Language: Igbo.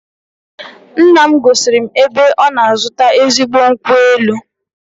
Nna m gosiri m ebe ọ na-azụta ezigbo nkwụ elu